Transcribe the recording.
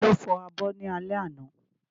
Ta ló fọ abọ́ ní alẹ́ àná?